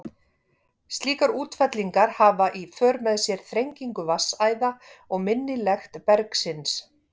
Slíkar útfellingar hafa í för með sér þrengingu vatnsæða og minni lekt bergsins.